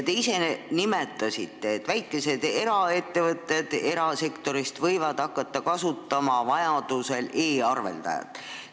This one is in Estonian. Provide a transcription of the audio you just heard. Te ise nimetasite, et väikesed eraettevõtted võivad hakata vajaduse korral kasutama e-arveldajat.